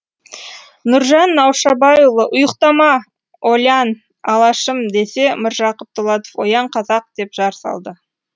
нұржан наушабайұлы ұйықтама олян алашым десе міржақып дулатов оян қазақ деп жар салды